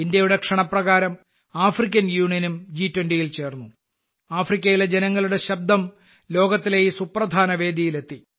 ഇന്ത്യയുടെ ക്ഷണപ്രകാരം ആഫ്രിക്കൻ യൂണിയനും ജി20യിൽ ചേർന്നു ആഫ്രിക്കയിലെ ജനങ്ങളുടെ ശബ്ദം ലോകത്തിലെ ഈ സുപ്രധാന വേദിയിൽ എത്തി